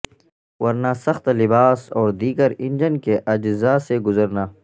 ورنہ سخت لباس اور دیگر انجن کے اجزاء سے گزرنا